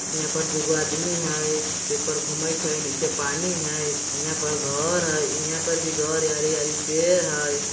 यहाँ पर दोगो आदमी हय शिप पर घूमेत है नीचे पानी है यहाँ पर घर है यहाँ पर भी घर है हरे-हरे पेड़ है।